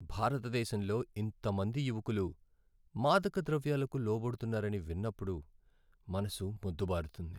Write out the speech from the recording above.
భారతదేశంలో ఇంతమంది మంది యువకులు మాదకద్రవ్యాలకు లోబడుతున్నారని విన్నప్పుడు మనసు మొద్దుబారుతుంది.